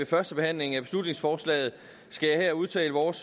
førstebehandlingen af beslutningsforslaget skal jeg her udtale vores